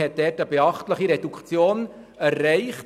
Man hat also eine beachtliche Reduktion erreicht.